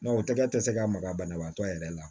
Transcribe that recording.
o tɛgɛ tɛ se ka maga banabaatɔ yɛrɛ la